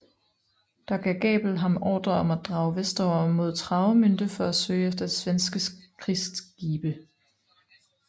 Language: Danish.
Der gav Gabel ham ordre om at drage vestover mod Travemünde for at søge efter svenske krigsskibe